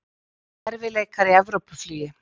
Erfiðleikar í Evrópuflugi